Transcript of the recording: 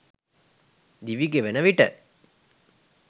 දිවිගෙවෙන විට